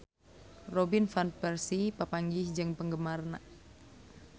Robin Van Persie papanggih jeung penggemarna